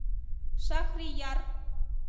шахрияр